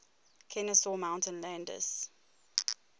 kenesaw mountain landis